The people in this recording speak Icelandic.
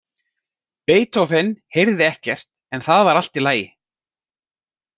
Beethoven heyrði ekkert, en það var allt í lagi.